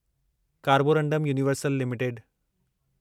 Carborundum Universal limited